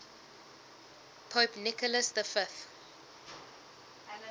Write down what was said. pope nicholas v